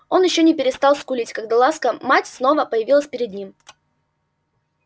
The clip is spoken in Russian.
он ещё не перестал скулить когда ласка мать снова появилась перед ним